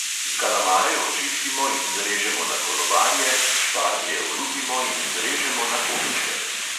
Kalamare očistimo in zrežemo na kolobarje, šparglje olupimo in zrežemo na koščke.